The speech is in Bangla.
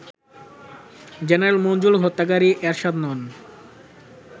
জেনারেল মঞ্জুর হত্যাকারী এরশাদ নন